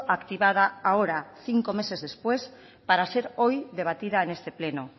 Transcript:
activada ahora cinco meses después para ser hoy debatida en este pleno